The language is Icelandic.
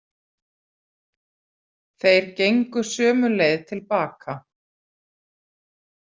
Þeir gengu sömu leið til baka.